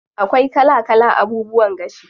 Akwai kala kala abubuwan gashi.